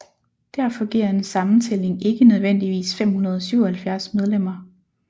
Derfor giver en sammentælling ikke nødvendigvis 577 medlemmer